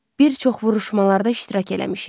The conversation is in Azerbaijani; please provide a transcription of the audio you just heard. Bir çox vuruşmalarda iştirak eləmişik.